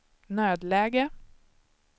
nödläge